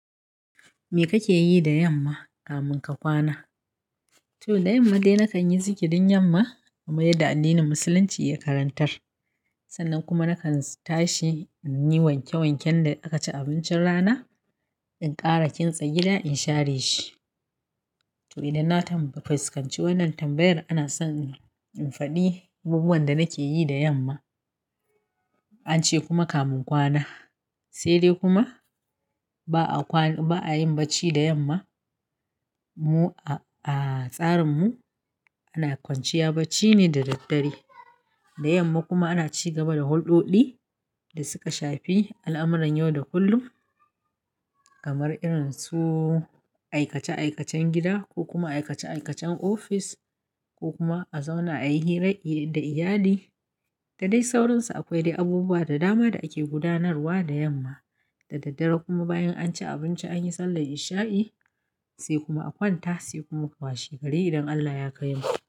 Me kake yi da yamma kamin ka kwana? To da yamma dai nakan yi zikirin yamma kamar yadda addinin musulunci ya karantar. Sannan kuma nakan s tashi in yi wanke wanken da aka ci abincin rana in ƙara kintsa gida in share shi. To idan na tamba, fuskanci wannan tambayar ana son in faɗi abubuwan da nake yi da yamma ance kuma kamin kwana. Sai dai kuma ba'a kwan ba'a yin bacci da yamma. Mu a' a, tsarinmu ana kwanciya bacci ne da daddare. Da yamma kuma ana ci gaba da huldoɗi da suka shafi al'amuran yau da kullum kamar irin su aikace aikacen gida ko kuma aikace aikacen ofis ko kuma a zauna a yi hira da iyali da dai sauransu. Akwai dai abubuwa da dama da ake gudanarwa da yamma. Da daddare kuma bayan an ci abinci an yi sallar isha'i sai kuma a kwanta sai kuma washe gari idan Allah ya kaimu.